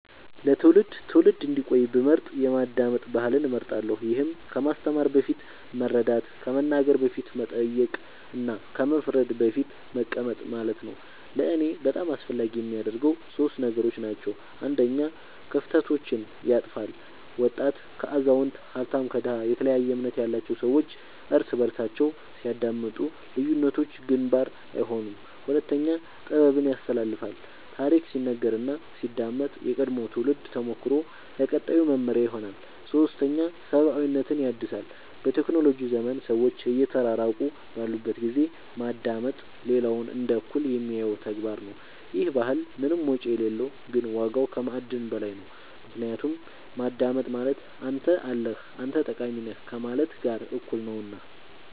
ለትውልድ ትውልድ እንዲቆይ ብመርጥ የማዳመጥ ባህልን እመርጣለሁ ይህም ከማስተማር በፊት መረዳት ከመናገር በፊት መጠየቅ እና ከመፍረድ በፊት መቀመጥ ማለት ነው ለእኔ በጣም አስፈላጊ የሚያደርገው ሶስት ነገሮች ናቸው አንደኛ ክፍተቶችን ያጥፋል ወጣት ከአዛውንት ሀብታም ከድሃ የተለያየ እምነት ያላቸው ሰዎች እርስ በርሳቸው ሲያዳምጡ ልዩነቶች ግንባር አይሆኑም ሁለተኛ ጥበብን ያስተላልፋል ታሪክ ሲነገር እና ሲዳመጥ የቀድሞው ትውልድ ተሞክሮ ለቀጣዩ መመሪያ ይሆናል ሶስተኛ ሰብአዊነትን ያድሳል በቴክኖሎጂ ዘመን ሰዎች እየተራራቁ ባሉበት ጊዜ ማዳመጥ ሌላውን እንደ እኩል የሚያየው ተግባር ነው ይህ ባህል ምንም ወጪ የሌለው ግን ዋጋው ከማዕድን በላይ ነው ምክንያቱም ማዳመጥ ማለት አንተ አለህ አንተ ጠቃሚ ነህ ከማለት ጋር እኩል ነውና